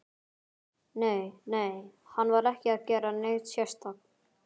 Nei, nei, hann var ekki að gera neitt sérstakt.